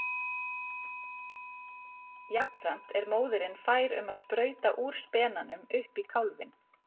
Jafnframt er móðirin fær um að sprauta úr spenanum upp í kálfinn.